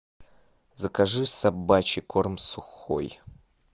закажи собачий корм сухой